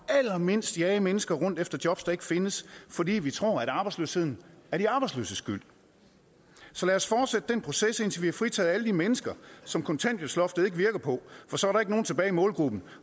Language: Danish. allermindst jage mennesker rundt efter jobs der ikke findes fordi vi tror at arbejdsløsheden er de arbejdsløses skyld så lad os fortsætte den proces indtil vi har fritaget alle de mennesker som kontanthjælpsloftet ikke virker på for så er der ikke nogen tilbage i målgruppen